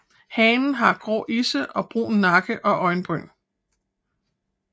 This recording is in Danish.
Hannen har grå isse og brun nakke og øjenbryn